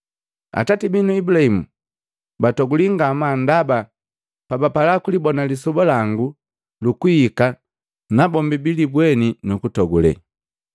Atati binu Ibulahimu batoguli ngamaa ndaba bapala kulibona lisoba langu lukuhika najombi jilibweni nukutogule.”